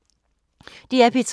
DR P3